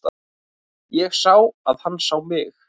Ég sá að hann sá mig.